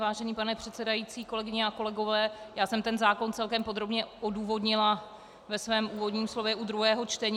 Vážený pane předsedající, kolegyně a kolegové, já jsem ten zákon celkem podrobně odůvodnila ve svém úvodním slově u druhého čtení.